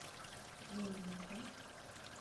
джой я прав